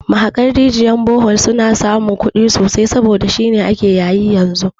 Mahaƙan rijiyar bohol suna samun kudi sosai saboda shine ake yayi yanzu